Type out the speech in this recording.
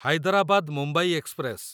Hyderabad Mumbai express